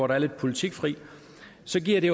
der er lidt politikfri så giver det